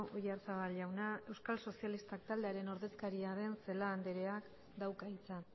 oyarzabal jauna euskal sozialistak taldearen ordezkaria den celaá andreak dauka hitza